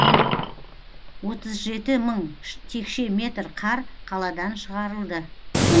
отыз жеті мың текше метр қар қаладан шығарылды